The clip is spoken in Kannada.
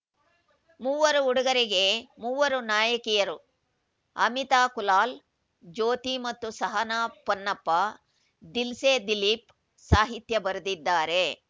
ಮೂವರು ಹುಡುಗರಿಗೆ ಮೂವರು ನಾಯಕಿಯರು ಅಮಿತಾ ಕುಲಾಲ್‌ ಜ್ಯೋತಿ ಮತ್ತು ಸಹನಾ ಪೊನ್ನಪ್ಪ ದಿಲ್ಸೆ ದಿಲೀಪ್‌ ಸಾಹಿತ್ಯ ಬರೆದಿದ್ದಾರೆ